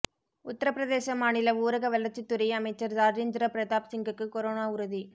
உத்தரப்பிரதேச மாநில ஊரக வளர்ச்சித்துறை அமைச்சர் ராஜேந்திர பிரதாப் சிங்குக்கு கொரோனா உறுதி